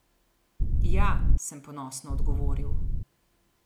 Ja, sem ponosno odgovoril.